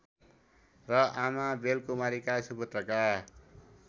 र आमा बेलकुमारीका सुपुत्रका